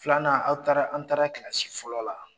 Filanan aw taara an taara fɔlɔ la.